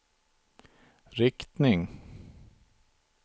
riktning